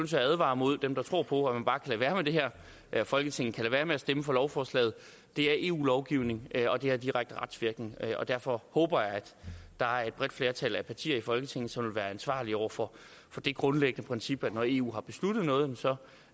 til at advare mod dem der tror på at man bare kan lade være med det her at folketinget kan lade være med at stemme for lovforslaget det er eu lovgivning og det har direkte retsvirkning og derfor håber jeg at der er et bredt flertal af partier i folketinget som vil være ansvarlige over for det grundlæggende princip at når eu har besluttet noget så